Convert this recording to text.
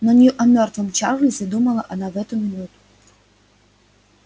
но не о мёртвом чарлзе думала она в эту минуту